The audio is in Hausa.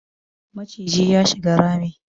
Maciji ya shiga rami